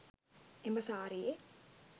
එම සාරියේ